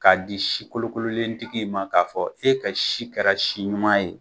K'a di si kolokololentigi in ma k'a fɔ e ka si kɛra si ɲuman ye